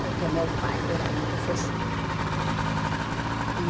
Porque meu pai era muito festeiro. E